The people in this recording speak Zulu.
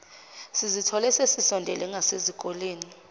sizithole sesisondele ngasesikoleni